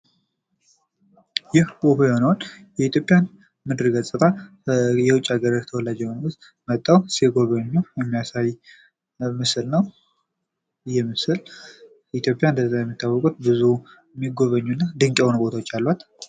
ይህ እዉቁ የሆነውን የኢትዮጵያን ምድረ-ገጽታ የዉጭ ሀገር ተወላጅ የሆኑት መጠው ሲጎበኙ የሚያሳይ ምስል ነው። ይህ ምስል በኢትዮጵያ ለዚያ የሚታወቁት ብዙ የሚጎበኙ እና ድንቅ የሆኑ ቦታዎች አሏት።